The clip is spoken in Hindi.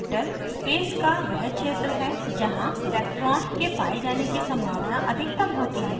orbital space का वह क्षेत्र है जहाँ electron के पाये जाने की सम्भावना अधिकतम होती है